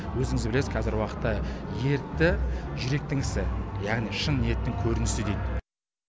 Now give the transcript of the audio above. өзіңіз білесіз қазіргі уақытта ерікті жүректің ісі яғни шын ниеттің көрінісі дейді